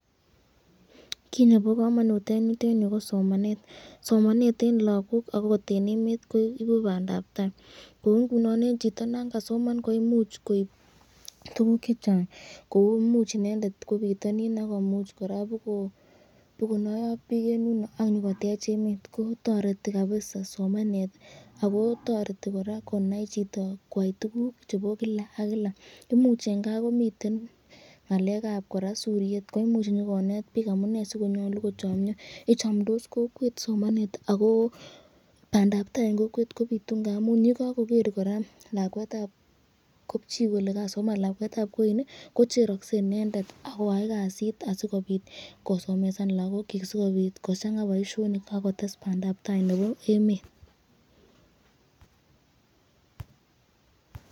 Kit nebo kamanut eng yutenyu ko somanet, somanet eng lagok akot eng emet kokukoib bandab tai kou ingunon eng chito Nan kasoman koimuch koib tukuk chechang kou imuch inendet kwoo bitanin akobonayo ak bik, engel yundo akoib bandap tai kotoreti kabisa ako toreti koraa konai chito kwai tukuk chebo Kila ak kila umuch eng kaa komiten ngalekab suriet koimuch koraa nyikonet bik amunee ssikonyolu kochamnyo ,ichamdos kokwet somanet ako bandab tai eng emet kobitu .